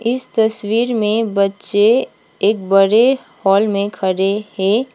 इस तस्वीर में बच्चे एक बड़े हॉल में खड़े है।